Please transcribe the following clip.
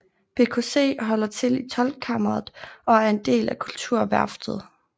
BKC holder til i Toldkammeret og er en del af Kulturværftet